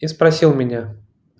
я спросил меня